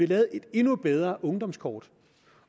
lavet et endnu bedre ungdomskort